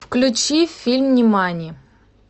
включи фильм нимани